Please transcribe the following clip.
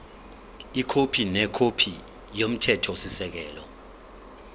ikhophi nekhophi yomthethosisekelo